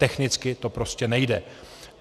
Technicky to prostě nejde.